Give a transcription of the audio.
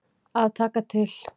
Að taka til.